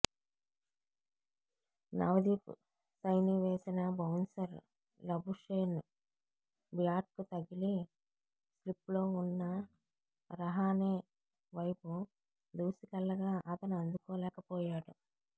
నవ్దీప్ సైనీ వేసిన bouncer Labuschagne బ్యాట్కు తగిలి స్లిప్లో ఉన్న రహానే వైపు దూసుకెళ్లగా అతను అందుకోలేకపోయాడు